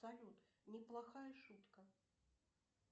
салют неплохая шутка